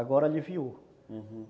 Agora aliviou, uhum.